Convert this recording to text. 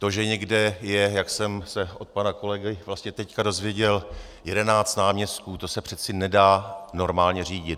To, že někde je, jak jsem se od pana kolegy vlastně teď dozvěděl, jedenáct náměstků, to se přece nedá normálně řídit.